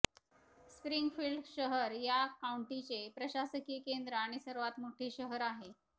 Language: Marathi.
स्प्रिंगफील्ड शहर या काउंटीचे प्रशासकीय केन्द्र आणि सर्वात मोठे शहर आहे